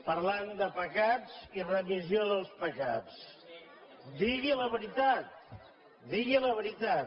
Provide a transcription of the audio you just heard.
parlant de pecats i remissió dels pecats digui la veritat digui la veritat